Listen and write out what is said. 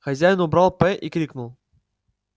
хозяин убрал п и крикнул